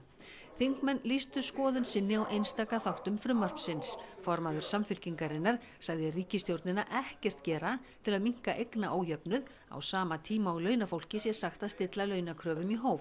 þingmenn lýstu skoðun sinni á einstaka þáttum frumvarpsins formaður Samfylkingarinnar sagði ríkisstjórnina ekkert gera til að minnka eignaójöfnuð á sama tíma og launafólki sé sagt að stilla launakröfum í hóf